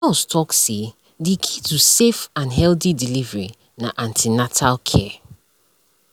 nurse talk say the key to safe and healthy delivery na an ten atal care